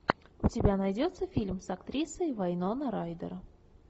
у тебя найдется фильм с актрисой вайноной райдер